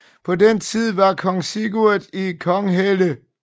På den tid var kong Sigurd i Konghelle